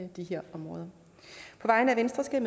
de her områder på vegne af venstre skal